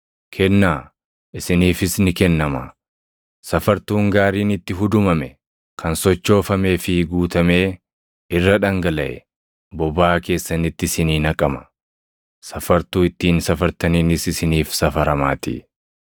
Kennaa; isiniifis ni kennamaa. Safartuun gaariin itti hudumame, kan sochoofamee fi guutamee irra dhangalaʼe bobaa keessanitti isinii naqama. Safartuu ittiin safartaniinis isiniif safaramaatii.”